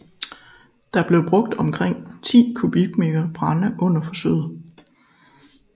Der blev brugt omkring 10 m3 brænde under forsøget